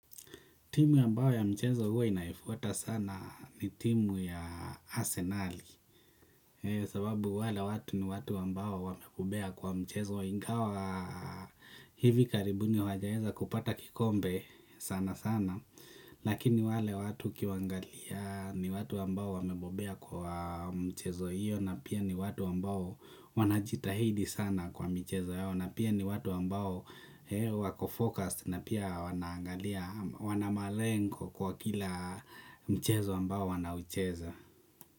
Timu ambayo ya mchezo huwa inaifuata sana ni timu ya arsenali sababu wale watu ni watu wambao wamebobea kwa mchezo ingawa hivi karibuni wajaweza kupata kikombe sana sana lakini wale watu ukiwaangalia ni watu ambao wamebobea kwa mchezo hiyo na pia ni watu ambao wanjitahidi sana kwa michezo yao na pia ni watu ambao wako-focus na pia wanaangalia, wana malengo kwa kila mchezo ambao wanaucheza.